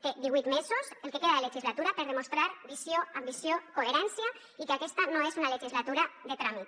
té divuit mesos el que queda de legislatura per demostrar visió ambició coherència i que aquesta no és una legislatura de tràmit